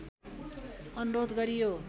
अनुरोध गरियो